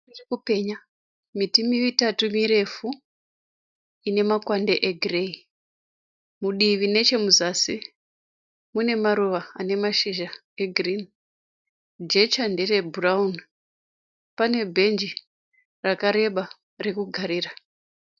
Iri kupenya miti mitatu mirefu ine makwande egireyi. Mudivi nechemuzasi mune maruva ane mashizha egirini. Jecha nderebhurauni. Pane bhenji rakareba rekugarira.